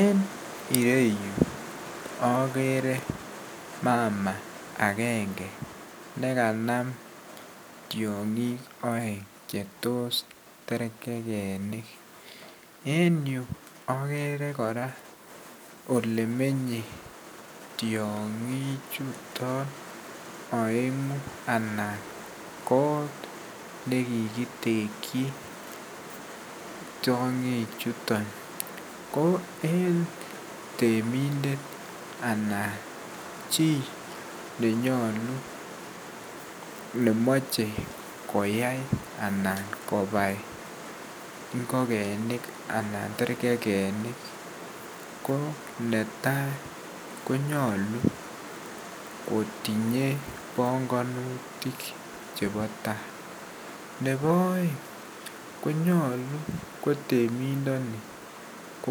En ireyu akere mama agenge nekanam tiong'ik aeng chetos terkekenik, en yu akere kora olemenye tiong'ichuton aeng'u anan kot nekikitekchi tiong'ichuto, ko en temindet anan chii nenyolu nemoche koyai anan kobai ngokenik anan terkekekinik. Koo netai konyolu kotinye bongonutik chebo taa .ne bo aeng konyolu ak temindoni ko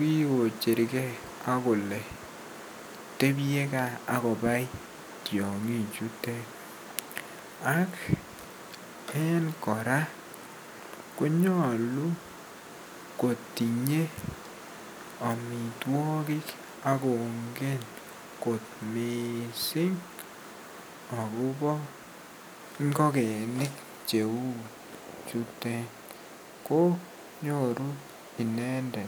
kikocherkee akole tebyee gaa akobai tiong'ichutet ak en kora konyolu kotinyee amitwaogik akonge kot miissing akobo ngokeni cheu chutet ko nyoru inendet.